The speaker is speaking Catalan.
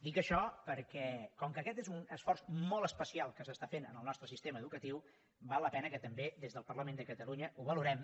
dic això perquè com que aquest és un esforç molt especial que s’està fent en el nostre sistema educatiu val la pena que també des del parlament de catalunya ho valorem